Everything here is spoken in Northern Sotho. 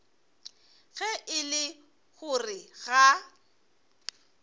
ge e le gore ga